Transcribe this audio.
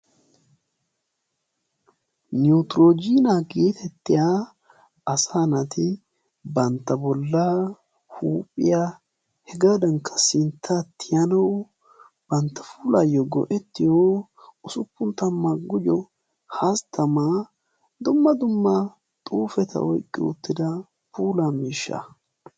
Niwutiroojiniyaa getettiyaa asaa naati bantta bollaa huuphphiyaa hegaadankka sinttaa tiyanawu bantta puulayoo go"ettiyoo usuppun tamaa gujjo hasttamaa dumma dumma xuufetta oyqqi uttida puulaa miishshaa.